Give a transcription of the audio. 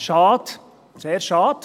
Schade, sehr schade.